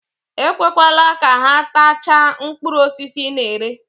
Ekwekwele ka ha tachaa mkpụrụ osisi ị na-ere.